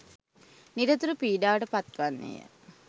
නිරතුරු පිඩාවට පත්වන්නේය.